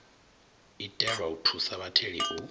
itelwa u thusa vhatheli u